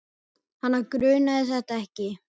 Hana grunaði þetta ekki.